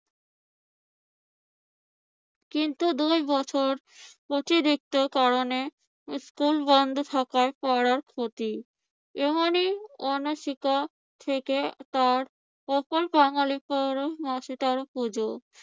কিন্তু দুই বছর অতিরিক্ত কারণে স্কুল বন্ধ থাকায় পড়ার ক্ষতি। এমনি অনাশিক্ষা থেকে তার উপর বাঙ্গালির বারো মাসে তেরো পূজো।